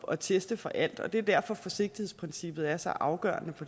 at teste for alt og det er derfor forsigtighedsprincippet er så afgørende